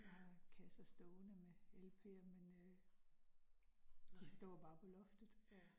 Jeg har kasser stående med LP'er, men øh de står bare på loftet